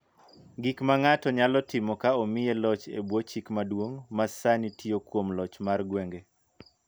Gik ma ng�ato nyalo timo ka omiye loch e bwo chik maduong� ma sani tiyo kuom loch mar gwenge.